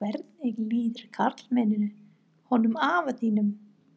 Eða svo heyrðist Ólafi Hjaltasyni af orðbragðinu sem þeir viðhöfðu.